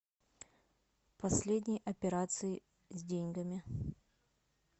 последние операции с деньгами